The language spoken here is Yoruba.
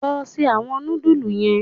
Lọ ṣe awọn nudulú yen!